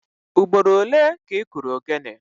Ugboro ole ka ị kụrụ ogene?